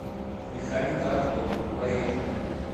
механика авто поехали